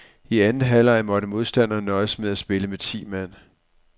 I anden halvleg måtte modstanderne nøjes med at spille med ti mand.